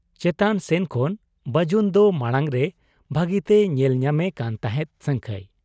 ᱪᱮᱛᱟᱱ ᱥᱮᱱ ᱠᱷᱚᱱ ᱵᱟᱹᱡᱩᱱᱫᱚ ᱢᱟᱬᱟᱝᱨᱮ ᱵᱷᱟᱹᱜᱤᱛᱮᱭ ᱧᱮᱞ ᱧᱟᱢᱮ ᱠᱟᱱ ᱛᱟᱦᱮᱸᱫ ᱥᱟᱹᱝᱠᱷᱟᱹᱭ ᱾